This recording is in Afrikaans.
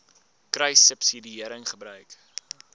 kruissubsidiëringgebruik